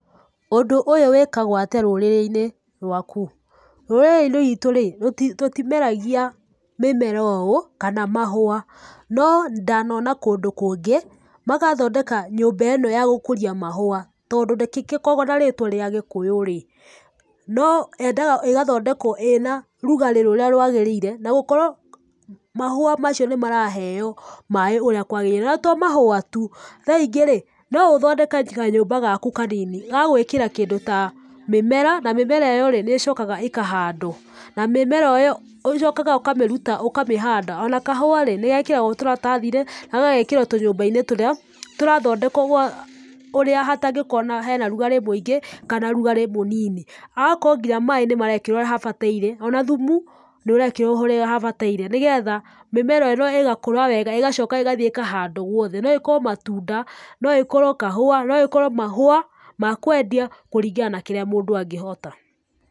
Ũndũ ũyũ wĩkagwo atĩa rũrĩrĩ-inĩ rwaku? Rũrĩrĩ-inĩ rwĩtũ rĩ, tũtimeragia mĩmera ũũ kana mahua. No ndanona kũndũ kũngĩ, magathondeka nyũmba ĩno ya gũkũria mahua, tondũ ndĩgĩkoragwo na rĩtwa rĩa gĩkũyũ rĩ, no yendaga ĩgathondekwo ĩna rugarĩ rũrĩa rwagĩrĩire na gũkorwo mahũa macio nĩ maraheo maaĩ ũrĩa kwagĩrĩire. Na to mahũa tu, thaa ingĩ rĩ, no ũthondeke kanyũmba gaku kanini, ga gwĩkĩra kĩndũ ta mĩmera. Na mĩnera ĩyo rĩ, nĩ ĩcokaga ĩkahandwo. Na mĩmera ĩyo ũcokaga ũkamĩruta ũkamĩhanda. O na kahũa rĩ nĩgekĩragwo tũrathathi-inĩ na gagekĩrwo tũnyũmba-inĩ tũrĩa tũrathondekwo twa ũrĩa hatangĩkorwo hena rugarĩ mũingĩ, kana rugarĩ mũnini. Hagakorwo nginya maaĩ nĩmarekĩrwo ũrĩa habataire, ona thumu nĩ ũrekĩrwo ũrĩa habataire, nĩgetha mĩmera ĩno ĩgakũra wega ĩgacoka ĩgathiĩ ĩkahandwo guothe. No ĩkorwo matunda, no ĩkorwo kahũa, no ĩkorwo mahũa ma kwendia, kũringana na kĩrĩa mũndũ angĩhota.